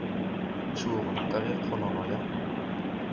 tšhoga ka ge kgonono ya